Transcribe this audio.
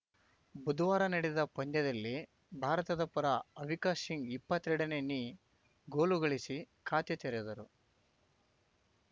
ಬುಧವಾರ ನಡೆದ ಪಂದ್ಯದಲ್ಲಿ ಭಾರತದ ಪರ ಅವಿಕಾ ಸಿಂಗ್‌ ಇಪ್ಪತ್ತೆರಡನೇ ನಿ ಗೋಲುಗಳಿಸಿ ಖಾತೆ ತೆರೆದರು